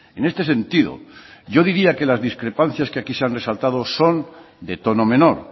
en este sentido yo diría que las discrepancias que aquí se han resaltado son de tono menor